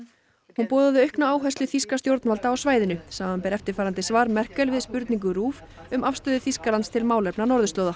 hún boðaði aukna áherslu þýskra stjórnvalda á svæðinu samanber eftirfarandi svar Merkel við spurningu RÚV um afstöðu Þýskalands til málefna norðurslóða